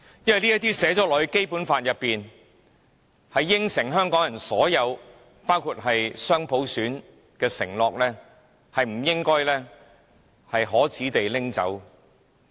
因為這些寫在《基本法》裏，應允香港人所有包括雙普選的承諾，是不應該可耻地被拿走的。